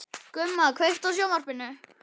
Gumma, kveiktu á sjónvarpinu.